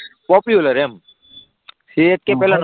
popular એમ CSK પહેલા